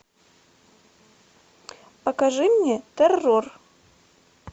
покажи мне террор